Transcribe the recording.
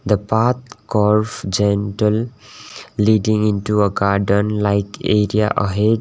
the path curve gentle leading into a garden like area ahead.